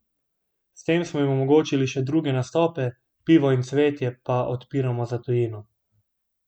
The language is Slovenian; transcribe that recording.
S tem smo jim omogočili še druge nastope, Pivo in cvetje pa odpiramo za tujino.